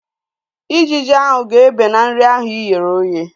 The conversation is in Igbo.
Ijiji ahu ga-ebe na nri ahu ighere oghe